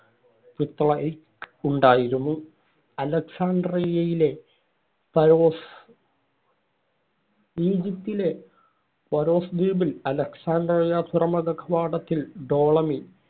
പിത്തളയ്ക്ക് ഉണ്ടായിരുന്നു. അലക്സാസാൻഡ്രിയയിലെ ഫാരോസ് ഈജിപ്റ്റിലെ ഫാരോസ് ദ്വീപിൽ അലക്സാഡ്രിയ തുറമുഖ കവാടത്തിൽ ടോളമി